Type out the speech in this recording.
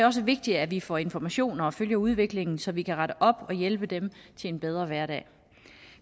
også vigtigt at vi får informationer og følger udviklingen så vi kan rette op og hjælpe dem til en bedre hverdag